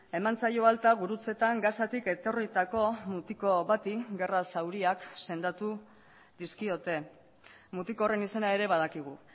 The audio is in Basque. eman zaio alta gurutzetan gazatik etorritako mutiko bati gerra zauriak sendatu dizkiote mutiko horren izena ere badakigu